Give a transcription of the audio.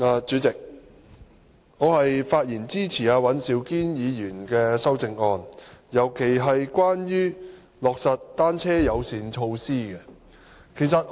主席，我發言支持尹兆堅議員的修正案，尤其是關於"落實'單車友善'措施"。